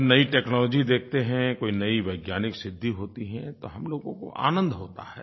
जब नई टेक्नोलॉजी देखते हैं कोई नई वैज्ञानिक सिद्धि होती है तो हम लोगों को आनंद होता है